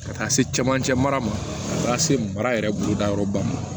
Ka taa se camancɛ mara ma se mara yɛrɛ boloda yɔrɔ ba ma